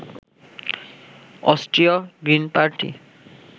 অস্ট্রীয় green party